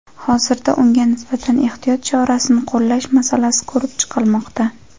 Hozirda unga nisbatan ehtiyot chorasini qo‘llash masalasi ko‘rib chiqilmoqda.